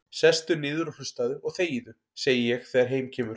Sestu niður og hlustaðu og þegiðu, segi ég þegar heim kemur.